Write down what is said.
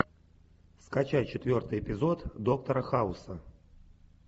скачай четвертый эпизод доктора хауса